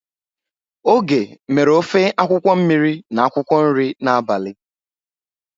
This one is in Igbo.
Oge mere ofe akwukwo mmiri na akwukwo nri n'abali.